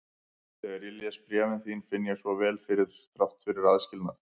Þegar ég les bréfin þín finn ég svo vel fyrir þér þrátt fyrir aðskilnað.